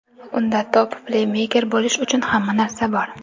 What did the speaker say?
Unda top-pleymeyker bo‘lish uchun hamma narsa bor.